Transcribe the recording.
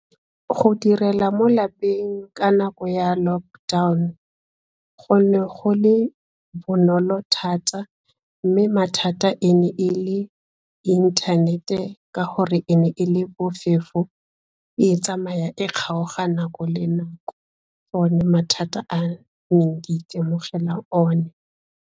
Go direla mo lapeng ka nako ya lockdown go ne go le bonolo thata mme mathata e ne e le e inthanete ka gore e ne e le bofefo, e tsamaya e kgaoga nako le nako. Ke one mathata a neng ke itemogela one.